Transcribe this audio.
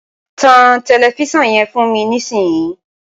tan tẹlifísàn yẹn fún mi nísìn yìí!